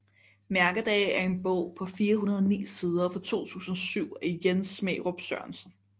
Mærkedage er en bog på 409 sider fra 2007 af Jens Smærup Sørensen